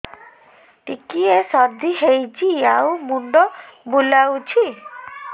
ଟିକିଏ ସର୍ଦ୍ଦି ହେଇଚି ଆଉ ମୁଣ୍ଡ ବୁଲାଉଛି